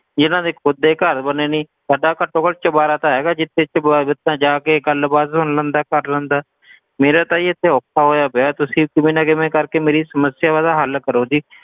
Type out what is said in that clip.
ਜਿਨ੍ਹਾਂ ਦੇ ਖੁਦ ਦੇ ਹੀ ਘਰ ਬਣੇ ਨੀ ਸਾਡਾ ਘੱਟੋਂ ਘੱਟ ਚੁਬਾਰਾ ਤਾਂ ਹੈਗਾ ਜਿੱਥੇ ਤਾਂ ਜਾ ਕੇ ਗੱਲ ਬਾਤ ਸੁਣ ਲੈਂਦਾ ਹੈ ਕਰ ਲੈਂਦਾ ਹੈ ਮੇਰਾ ਤਾਂ ਜੀ ਇਥੇ ਔਖਾ ਹੋਇਆ ਪਿਆ ਤੁਸੀ ਕਿਵੇਂ ਕਿਵੇਂ ਨਾ ਕਰਕੇ ਮੇਰੀ ਸਮੱਸਿਆ ਦਾ ਹੱਲ ਕਰੋ ਜੀ।